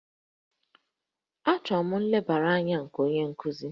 Achọrọ m nlebara anya nke onye nkuzi